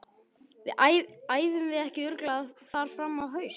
Æfum við ekki örugglega þar fram á haust?